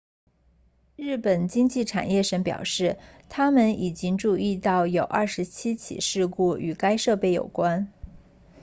日本经济产业省 meti 表示他们已经注意到有27起事故与该设备有关